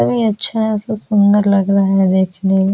और ये अच्छा है सब सुंदर लग रहा है देखने में।